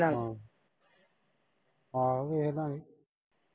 ਆਹੋ ਵੇਖਲਾਂਗੇ।